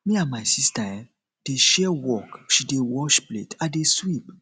me and my sister um dey share work she dey wash plate i dey sweep